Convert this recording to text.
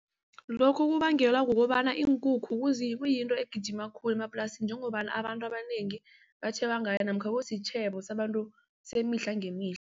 Lokhu kubangelwa kukobana iinkukhu kuyinto egijima khulu emaplasini njengobana abantu abanengi batjheba ngayo namkha kusitjhebo semihla ngemihla.